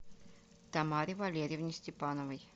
тамаре валерьевне степановой